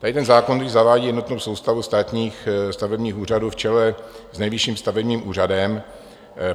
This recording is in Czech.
Tady ten zákon totiž zavádí jednotnou soustavu státních stavebních úřadů v čele s Nejvyšším stavebním úřadem.